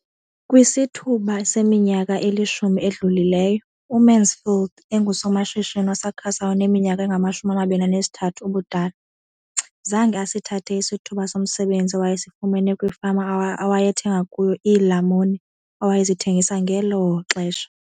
Kwisithuba seminyaka elishumi edlulileyo, uMansfield engusomashishini osakhasayo oneminyaka engama-23 ubudala, zange asithathe isithuba somsebenzi awayesifumena kwifama awayethenga kuyo iilamuni awayezithengisa ngelo xesha.